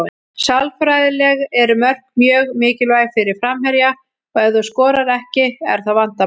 Sálfræðilega eru mörk mjög mikilvæg fyrir framherja og ef þú skorar ekki er það vandamál.